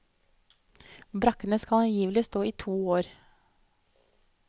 Brakkene skal angivelig stå i to år.